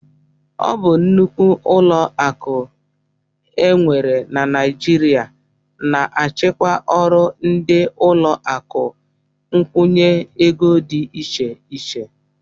Ọ bụ nnukwu ụlọakụ e nwere na Naijiria na-achịkwa ọrụ ndị ụlọakụ nkwụnye ego dị iche iche